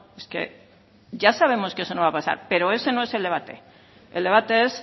es que ya sabemos que eso no va a pasar pero ese no es el debate el debate es